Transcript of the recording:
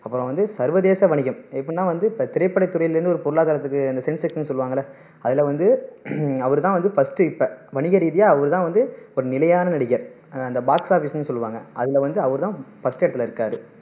அப்பறம் வந்து சர்வதேச வணிகம் எப்படின்னா வந்து இப்போ திரைப்படத்துறையில இருந்து ஒரு பொருளாதாரத்துக்கு இந்த sensation னு சொல்லுவாங்கல்ல அதுல வந்து அவரு தான் வந்து first இப்போ வணிக ரீதியா அவரு தான் வந்து ஒரு நிலையான நடிகர் அந்த box office னு சொல்லுவாங்க அதுல வந்து அவரு தான் first இடத்துல இருக்காரு